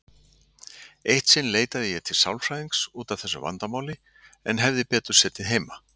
Eitt sinn leitaði ég til sálfræðings út af þessu vandamáli, en hefði betur setið heima.